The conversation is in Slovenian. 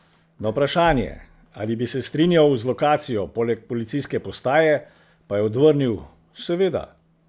Na vprašanje, ali bi se strinjal z lokacijo poleg policijske postaje, pa je odvrnil: "Seveda.